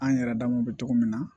An yɛrɛ damaw bɛ cogo min na